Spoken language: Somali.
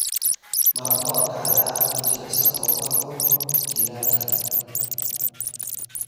Maraq bocorka ayaa ah mid jilicsan oo ku habboon jiilaalka.